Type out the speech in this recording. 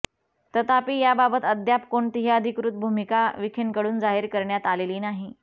तथापि याबाबत अद्याप कोणतीही अधिकृत भूमिका विखेंकडून जाहीर करण्यात आलेली नाही